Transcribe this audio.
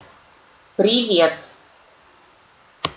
привет